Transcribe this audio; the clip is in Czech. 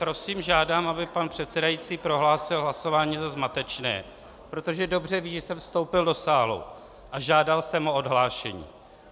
Prosím, žádám, aby pan předsedající prohlásil hlasování za zmatečné, protože dobře ví, že jsem vstoupil do sálu a žádal jsem o odhlášení.